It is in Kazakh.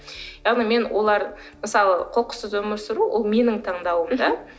яғни мен олар мысалы қоқыссыз өмір сүру ол менің таңдауым да